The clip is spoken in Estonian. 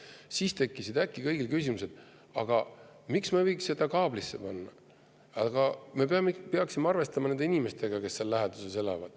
Aga siis tekkisid äkki kõigil küsimused, et aga miks me ei võiks seda kaablisse panna ja me peaksime arvestama nende inimestega, kes seal läheduses elavad.